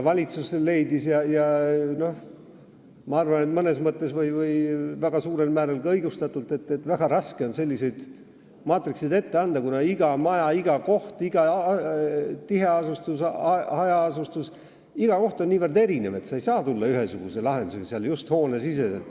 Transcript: Valitsus leidis – ja ma arvan, et suurel määral ka õigustatult –, et väga raske on selliseid maatrikseid ette anda, kuna iga maja, iga koht, iga tiheasustus või hajaasustus on niivõrd erinev, et sa ei saa tulla välja ühesuguse lahendusega, just hoone sees.